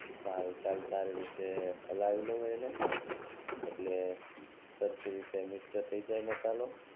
ચાલ ચાલ સારી રીતે હલાવી લવ એને એટ્લે સરખી રીતે મિક્સ થઈ જાય મસાલો